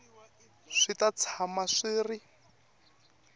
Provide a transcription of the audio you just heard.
swi ta tshama swi ri